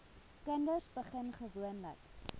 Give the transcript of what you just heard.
kinders begin gewoonlik